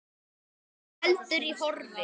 Hún heldur í horfi.